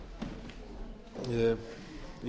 herra forseti ég